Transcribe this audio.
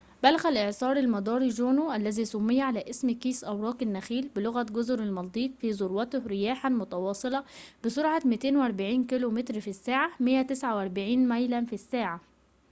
بلغ الإعصار المداري جونو - الذي سمي على اسم كيس أوراق النخيل بلغة جزر المالديف - في ذروته رياحاً متواصلة بسرعة 240 كيلومتراً في الساعة 149 ميلاً في الساعة